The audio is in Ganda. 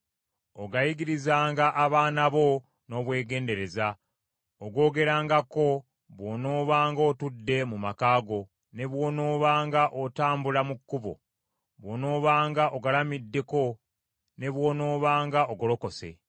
Ogayigirizanga abaana bo n’obwegendereza. Ogoogerengako bw’onoobanga otudde mu maka go, ne bw’onoobanga otambula mu kkubo, bw’onoobanga ogalamiddeko, ne bw’onoobanga ogolokose.